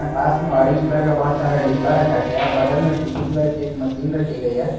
पास में orange colour का बहुत सारा डिब्बा रखा गया है बगल में पीली कलर की एक मशीन रखी गई है।